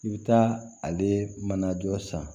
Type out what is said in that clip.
I bɛ taa ale mana jɔ san